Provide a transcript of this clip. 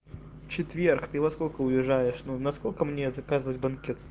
четверг ты во сколько уезжаешь ну насколько мне заказывать банкет